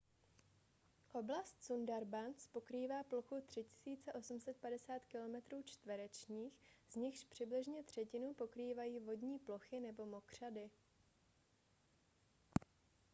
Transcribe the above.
oblast sundarbans pokrývá plochu 3 850 km² z nichž přibližně třetinu pokrývají vodní plochy nebo mokřady